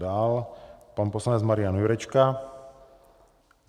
Dál pan poslanec Marián Jurečka.